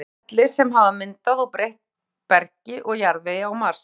Túlka þau ferli sem hafa myndað og breytt bergi og jarðvegi á Mars.